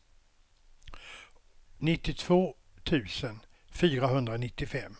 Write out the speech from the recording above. nittiotvå tusen fyrahundranittiofem